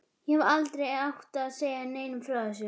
Ég hefði aldrei átt að segja neinum frá þessu.